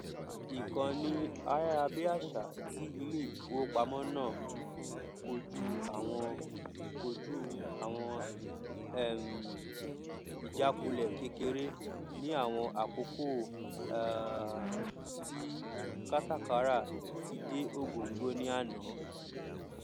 ìkànnì ayárabíàṣá ti ilé ìfowópamọ náà kojú àwọn kojú àwọn um ìjákulẹ kékeré ní àwọn àkókò um tí kátàkárà ti dé ògóngó ní àná